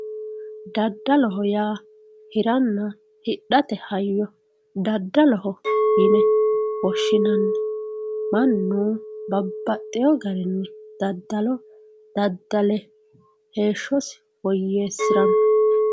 daddaloho yaa hiranna hidhate hayyoo daddaloho yine woshshinanni mannu babbaxxewoo garinni daddalo daddale heeshshosi woyyeessiranno